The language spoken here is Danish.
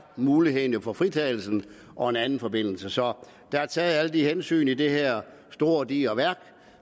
muligheden der jo for fritagelse og en anden forbindelse så der er taget alle de her hensyn i det her store digre værk